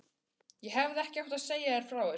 Ég hefði ekki átt að segja þér frá þessu